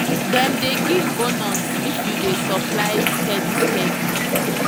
dem dey give bonus if you dey supply steady steady.